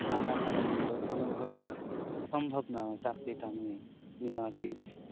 টাকা ছাড়া কিন্তু কোনো ভাবেই সম্ভব নয় চাকরিটা নিয়ে নিয়ে আরকি